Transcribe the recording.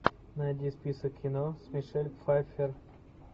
найди список кино с мишель пфайфер